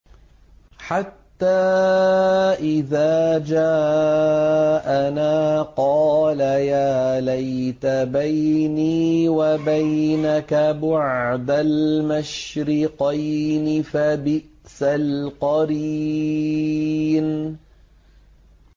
حَتَّىٰ إِذَا جَاءَنَا قَالَ يَا لَيْتَ بَيْنِي وَبَيْنَكَ بُعْدَ الْمَشْرِقَيْنِ فَبِئْسَ الْقَرِينُ